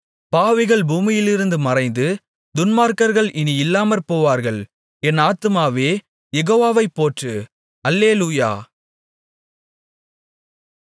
பாவிகள் பூமியிலிருந்து மறைந்து துன்மார்க்கர்கள் இனி இல்லாமற்போவார்கள் என் ஆத்துமாவே யெகோவாவைப் போற்று அல்லேலூயா